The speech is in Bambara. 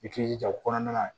I k'i jija o kɔnɔna na